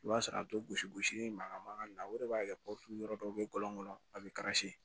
I b'a sɔrɔ a bɛ gosi gosi mankan mankan na o de b'a kɛ yɔrɔ dɔw bɛ kɔlɔn kɔnɔ a bɛ